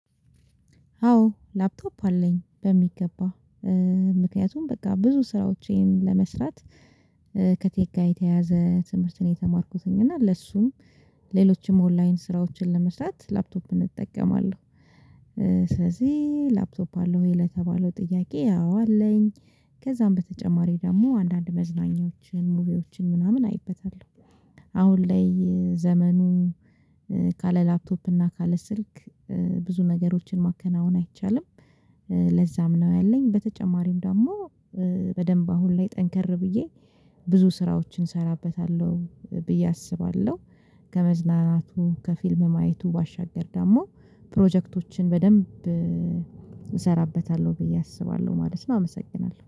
አዎ ላፕቶፕ አለኝ በሚገባ። ምክንያቱም በቃ ብዙ ስራዎቼን ለመስራት ከቴክ ጋር የተያያዘ ትምህርት ነው የተማርኩትኝ እና ለሱም ሌሎችም ኦንላይን ስራዎችን ለመስራት ላፕቶፕ እጠቀማለሁ። ስለዚህ ላፕቶፕ አለህ ወይ? ለተባለው ጥያቄ አዎ አለኝ። ከዛም በተጨማሪ ደግሞ አንዳንድ መዝናኛዎችን ሙቪዎችን ምናምን አይበታለሁ። አሁን ላይ ዘመኑ ካለ ላፕቶፕ እና ካለ ስልክ። ብዙ ነገሮችን ማከናወን አይቻልም። ለዛም ነው ያለኝ በተጨማሪም ደግሞ በደንብ አሁን ላይ ጠንከር ብዬ ብዙ ስራዎችን እሰራበታለሁ ብዬ አስባለሁ። ከመዝናናቱ ከፊልም ማየቱ ባሻገር ደግሞ ፕሮጀክቶችን በደንብ እሰራበታለሁ ብዬ አስባለሁ ማለት ነው። አመሰግናለሁ